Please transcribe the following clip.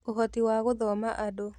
Ũhoti wa gũthoma andũ: